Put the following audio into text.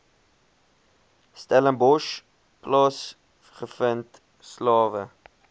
stellenbosch plaasgevind slawe